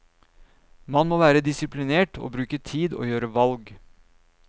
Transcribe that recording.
Man må være disiplinert, bruke tid og gjøre valg.